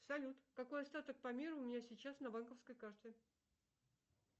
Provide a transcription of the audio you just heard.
салют какой остаток по миру у меня сейчас на банковской карте